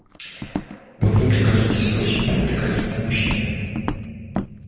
вот вы мне кажетесь очень привлекательным мужчиной